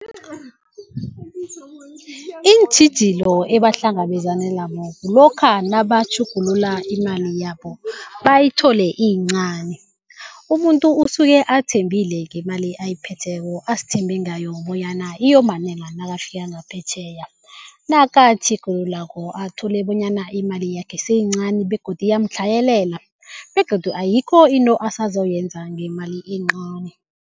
Iintjhijilo ebahlangabezana kulokha nabatjhugulula imali yabo bayithole iyincani. Umuntu usuke athembile ngemali ayiphetheko, azithembe ngayo bonyana iyomanela nakafika ngaphetjheya. Nakatjhugululako athole bonyana imali yakhe seyincani begodu iyamtlhayelela begodu ayikho into asazoyenza ngemali encani.